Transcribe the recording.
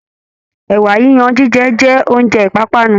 Ẹ̀wà yiyan jíjẹ jẹ́ oúnjẹ ìpápánu